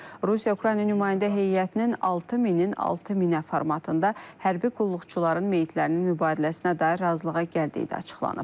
Rusiya-Ukrayna nümayəndə heyətinin 6000-in 6000-ə formatında hərbi qulluqçuların meyitlərinin mübadiləsinə dair razılığa gəldiyi də açıqlanıb.